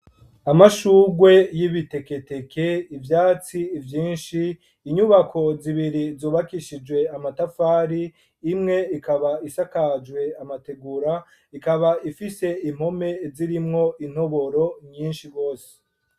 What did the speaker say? Amashurwe y'ibiteketeke , ivyatsi vyinshi , inyubako zibiri zubakishijwe amatafari imwe ikaba isakajwe amategura , ikaba ifise impome zirimwo intoboro nyishi gose.